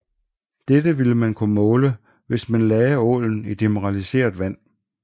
Dette ville man kunne måle hvis man lagde ålen i demineraliseret vand